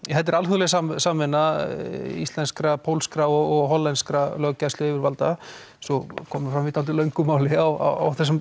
þetta er alþjóðleg samvinna íslenskra pólskra og hollenskra yfirvalda eins og kom fram í dálítið löngu máli á þessum